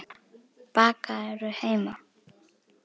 Bakarðu heima?